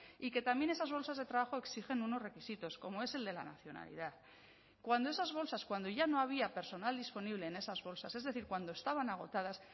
y que también esas bolsas de trabajo exigen unos requisitos como es el de la nacionalidad cuando esas bolsas cuando ya no había personal disponible en esas bolsas es decir cuando estaban agotadas